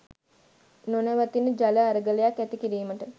නොනවතින ජල අරගලයක් ඇති කිරීමට